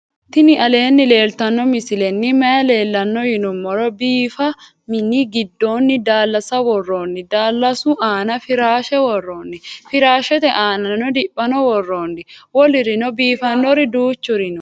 tini aleni leltano misileni maayi leelano yinnumoro. bifa miini gidonni dalasa wooroni dalasu aana firashe woroni firashete aanani diphano wooroni woolurino bifanori duchuri noo.